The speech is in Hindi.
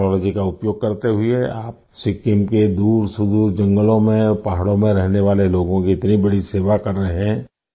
इस टेक्नोलॉजी का उपयोग करते हुए आप सिक्किम के दूरसुदूर जंगलों में पहाड़ों में रहने वाले लोगों की इतनी बड़ी सेवा कर रहे हैं